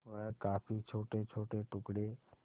वह काफी छोटेछोटे टुकड़े